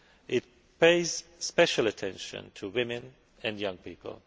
It pays special attention to women and young people.